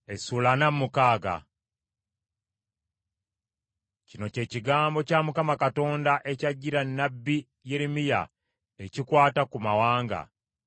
Kino kye kigambo kya Mukama Katonda ekyajjira nnabbi Yeremiya ekikwata ku mawanga: